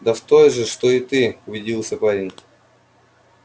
да в той же что и ты удивился парень